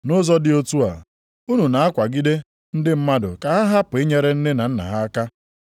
Nʼụzọ dị otu a, unu na-akwagide ndị mmadụ ka ha hapụ inyere nne na nna ha aka.